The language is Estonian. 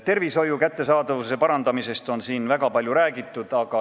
Arstiabi kättesaadavuse parandamisest on siin väga palju räägitud.